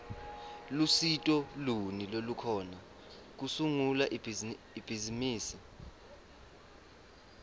lusito luni lolukhona kusungula ibhizimisi